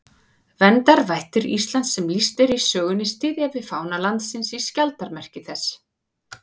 Verndarvættir Íslands sem lýst er í sögunni styðja við fána landsins í skjaldarmerki þess.